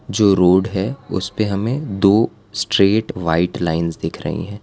जो रोड है उस पे हमें दो स्ट्रेट व्हाइट लाइंस दिख रही हैं।